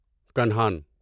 Kanhan